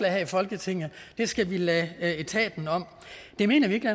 her i folketinget det skal vi lade etaten om det mener vi ikke